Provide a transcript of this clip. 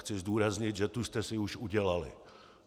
Chci zdůraznit, že tu jste si už udělali.